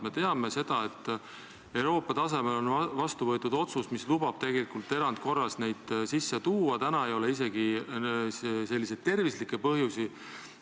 Me teame, et Euroopa tasemel on vastu võetud otsus, mis lubab erandkorras neid sisse tuua, täna ei ole isegi tervislikke põhjusi,.